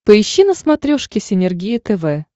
поищи на смотрешке синергия тв